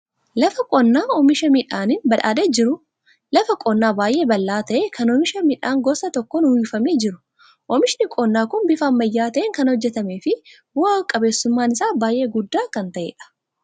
Lafa qonnaa oomisha midhaaniin badhaadhee jiru. Lafa qonnaa baay'ee bal'aa ta'e, kan oomisha midhaan gosa tokkoon uwwifamee jiru. Oomishni qonnaa kun bifa ammayyaa ta'een kan hojjetamee fi bu'a qabeessummaan isaa baay'ee guddaa kan ta'edha.